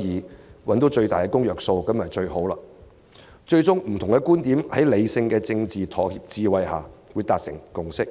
議找到最大公約數，在理性的政治妥協智慧下最終讓不同觀點達致共識，這是最好的。